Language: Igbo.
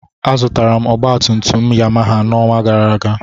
Azụtara m ọgbatumtum Yamaha n'ọnwa gara aga.